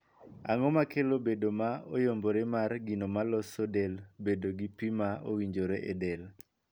Ang'o makelo bedo ma oyombore mar gino ma loso del bedo gi pii ma owinjore e del?